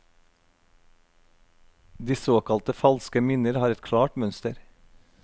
De såkalte falske minner har et klart mønster.